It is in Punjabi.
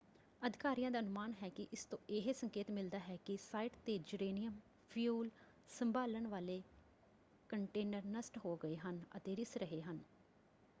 ਅਧਿਕਾਰੀਆਂ ਦਾ ਅਨੁਮਾਨ ਹੈ ਕਿ ਇਸ ਤੋਂ ਇਹ ਸੰਕੇਤ ਮਿਲਦਾ ਹੈ ਕਿ ਸਾਈਟ ‘ਤੇ ਯੂਰੇਨੀਅਮ ਫਿਊਲ ਸੰਭਾਲਣ ਵਾਲੇ ਕੰਟੇਨਰ ਨਸ਼ਟ ਹੋ ਗਏ ਹਨ ਅਤੇ ਰਿੱਸ ਰਹੇ ਹਨ।